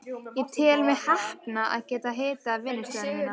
Ég tel mig heppna að geta hitað vinnustofuna mína.